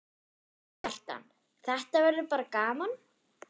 Kjartan: Þetta verður bara gaman?